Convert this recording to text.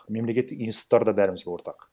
мемлекеттік институттар да бәрімізге ортақ